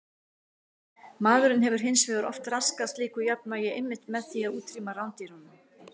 Maðurinn hefur hins vegar oft raskað slíku jafnvægi einmitt með því að útrýma rándýrunum.